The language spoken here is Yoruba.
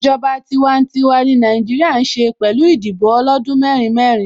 Ìjọba tiwantiwa ni Nàìjíríà ń ṣe pẹ̀lú Ìdìbò ọlọ́dún mẹ́rin mẹ́rin